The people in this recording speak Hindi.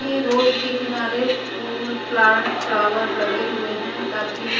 ये रोड के किनारे फूल प्लांट फ्लावर लगे हुए हैं काफी --